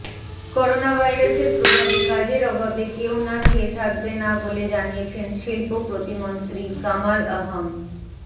করোনাভাইরাসের প্রভাবে কাজের অভাবে কেউ না খেয়ে থাকবে না বলে জানিয়েছেন শিল্প প্রতিমন্ত্রী কামাল আহম